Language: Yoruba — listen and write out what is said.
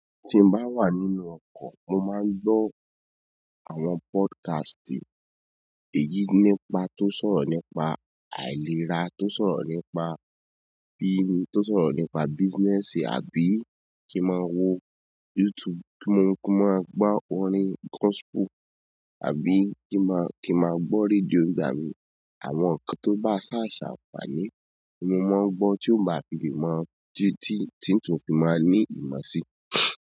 Tí mo bá wà nínú ọkọ̀, mo máa ń gbọ́ àwọn podcast èyí nípa tó sọ̀rọ̀ nípa àìlera, tó sọ̀rọ̀ nípa bíni, tó sọ̀rọ̀ nípa business àbí kí ma wo YouTube kí mo, kí ma gbọ́ orin gospel àbí kí maa, kí ma gbọ́ rédíò nígbà mi. Àwọn ǹkan tó bá ṣàṣà wà ní, mo máa ń gbọ́ tí ó bá fi ìmọ̀ dí tí, tí n tó fi máa ní ìmọ̀ sí.